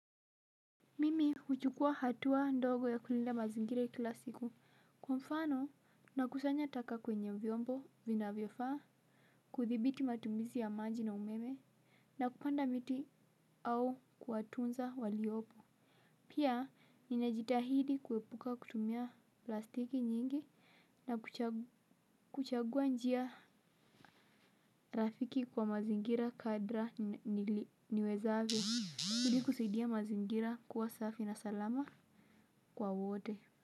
Mimi huchukua hatua ndogo ya kulinda mazingira kila siku kwa mfano na kusanya taka kwenye vyombo vina vyofaa kuthibiti matumizi ya maji na umeme na kupanda miti au kuwatunza waliopo pia ninajitahidi kuepuka kutumia plastiki nyingi na kuchagua njia rafiki kwa mazingira kadra niwezavyo ili kusaidia mazingira kuwa safi na salama kwa wote.